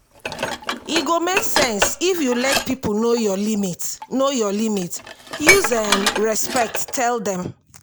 e go make sense if you let pipo know your limit know your limit use um respect tell dem